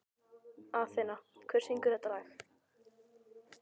Athena, hver syngur þetta lag?